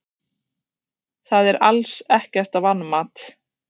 Það er alls ekkert vanmat.